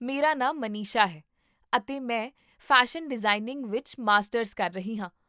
ਮੇਰਾ ਨਾਮ ਮਨੀਸ਼ਾ ਹੈ, ਅਤੇ ਮੈਂ ਫੈਸ਼ਨ ਡਿਜ਼ਾਇਨਿੰਗ ਵਿੱਚ ਮਾਸਟਰਜ਼ ਕਰ ਰਹੀ ਹਾਂ